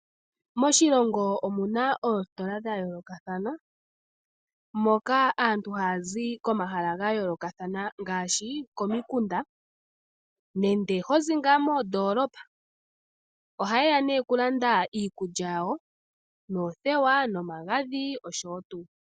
Moshilongo omuna oositola dhayoolokathana , moka aantu ohaya zi komahala gayoolokathana ngaashi komikunda nenge moondolopa . Ohayeya okulanda iikulya yawo, oothewa nomagadhi nayilwe.